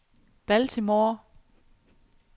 Baltimore